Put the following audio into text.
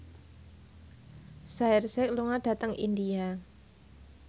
Shaheer Sheikh lunga dhateng India